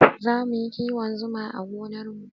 Zamu yi kiwon Zuma a gonar mu